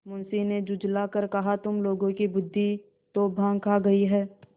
मुंशी ने झुँझला कर कहातुम लोगों की बुद्वि तो भॉँग खा गयी है